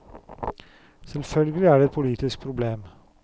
Selvfølgelig er det et politisk problem.